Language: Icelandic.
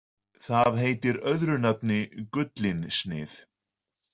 Það heitir öðru nafni gullinsnið.